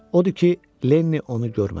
Odur ki, Lenni onu görmədi.